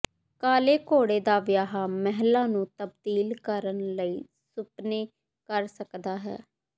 ਕਾਲੇ ਘੋੜੇ ਦਾ ਵਿਆਹ ਮਹਿਲਾ ਨੂੰ ਤਬਦੀਲ ਕਰਨ ਲਈ ਸੁਪਨੇ ਕਰ ਸਕਦਾ ਹੈ